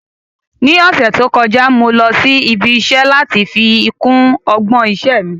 Ní ọ̀sẹ̀ tó kọjá, mo lọ sí ibi iṣẹ́ láti fi kún ọgbọ́n iṣẹ́ mi